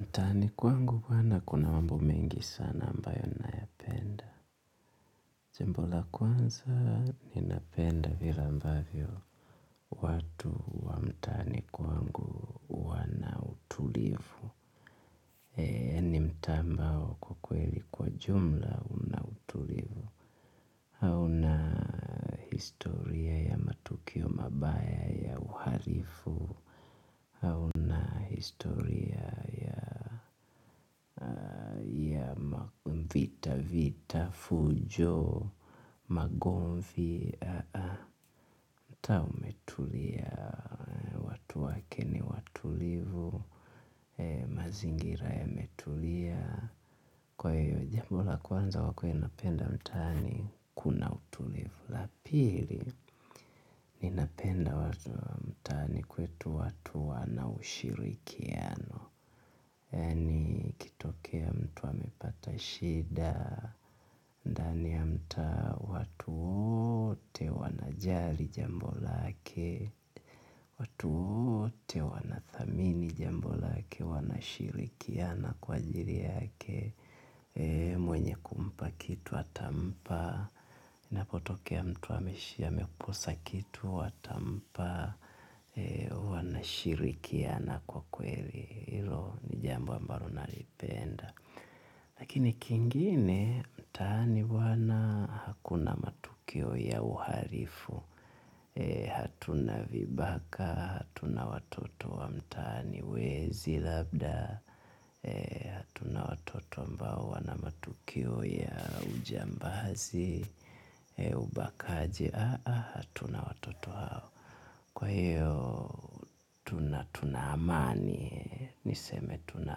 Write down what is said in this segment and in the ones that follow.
Mtaani kwangu kwani kuna mambo mengi sana ambayo ninayoyapenda. Jambo la kwanza ninapenda vile ambavyo watu wa mtaani kwangu wana utulivu. Yaani mtaa ambao kwa kweli kwa jumla una utulivu hauna historia ya matukio mabaya ya uhalifu hauna historia ya vita vita fujo magomvi mtaa umetulia watu wake ni watulivu mazingira yametulia kwa hiyo jambo la kwanza wakue napenda mtaa ni kuna utulivu la pili ninapenda watu mtaani kwetu watu wana ushirikiano yaani ikitokea mtu amepata shida ndani ya mtaa watu wote wanajali jambo lake watu wote wanathamini jambo lake wanashirikiana kwa ajili yake mwenye kumpa kitu atampa inapotokea mtu ameshi amekosa kitu watampa. Wanashirikiana kwa kweli hilo ni jambo ambalo nalipenda lakini kingine mtaani bwana hakuna matukio ya uhalifu hatuna vibaka hatuna watoto wa mtaani wezi labda hatuna watoto ambao wana matukio ya ujambazi ubakaji hatuna watoto hao kwa hiyo tuna tuna amani, niseme tuna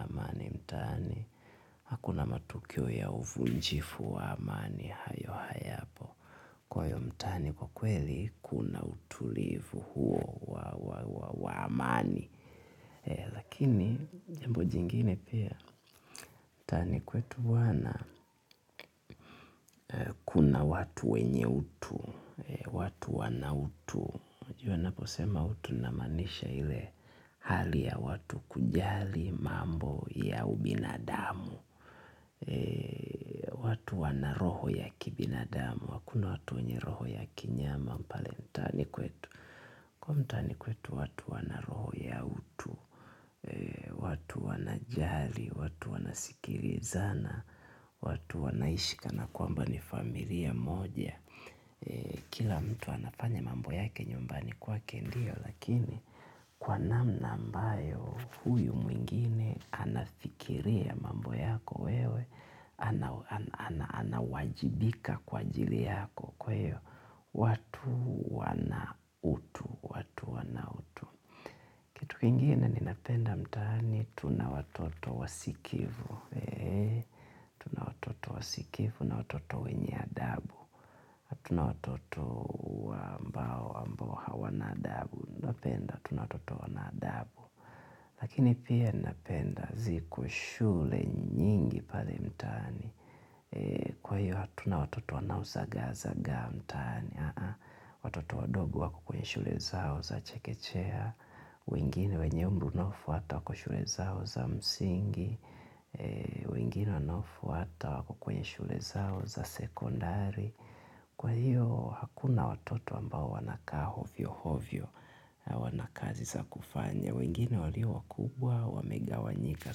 amani mtaani. Hakuna matukio ya uvunjifu wa amani hayo hayapo kwa hiyo mtaani kwa kweli, kuna utulivu huo wa amani. Lakini, jambo jingine pia. Mtaani kwetu bwana, kuna watu wenye utu, watu wana utu. Jua naposema utu namaanisha ile hali ya watu kujali mambo ya ubinadamu watu wana roho ya kibinadamu hakuna watu wenye roho ya kinyama pale mtaani kwetu huko mtaani kwetu watu wana roho ya utu watu wana jali, watu wanasikilizana watu wanaishi kana kwamba ni familia moja kila mtu anafanya mambo yake nyumbani kwake ndio lakini kwa namna ambayo huyu mwingine anafikiria mambo yako wewe anawajibika kwa ajili yako kwa hiyo watu wana utu watu wana utu kitu kingine ninapenda mtaani tuna watoto wasikivu wasikivu na watoto wenye adabu hatuna watoto wa ambao hawana adabu napenda tuna watoto wana adabu lakini pia napenda ziko shule nyingi pale mtaani. Kwa hiyo hatuna watoto wanao zagazaga mtaani. Watoto wadogo wako kwenye shule zao za chekechea wengine wenye umbunofu hata wako kwenye shule zao za msingi. Wengine wanaofuata wako kwenye shule zao za sekondari. Kwa hiyo hakuna watoto ambao wanakaa ovyo ovyo, wana kazi za kufanya. Wengine walio wakubwa wamegawanyika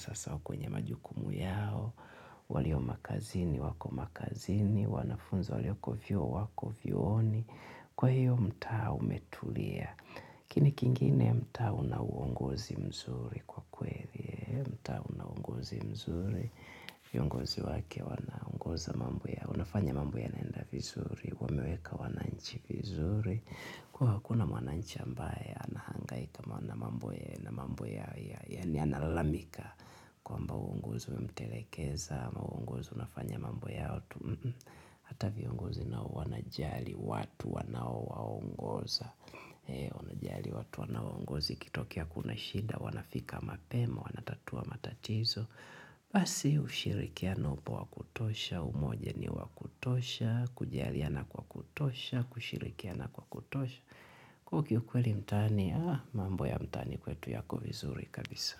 sasa kwa majukumu yao walio makazini wako makazini wanafunza wlioko vyuo wako vyuoni kwa hivyo mtaa umetulia lakini kingine mtaa una uongozi mzuri kweli mtaa una uongozi mzuri viongozi wake wana ongoza mambo ya wanafanya mambo yanaenda vizuri. Wameweka wananchi vizuri kuwa hakuna mwananchi ambaye anahangaika na mambo ya na mambo ya yaani analamika kwamba waongozi wamtelekeza ama waongozi wanafanya mambu yao tu hata viongozi nao wanajali watu wanao waongoza wanajali watu wanao uongozi ikitokea kuna shida wanafika mapema wanatatua matatizo basi ushirikiano upo wa kutosha umoja ni wa kutosha. Kujaliana kwa kutosha kushirikiana kwa kutosha okay ukweli mtaani mambo ya mtaani kwetu yako vizuri kabisa.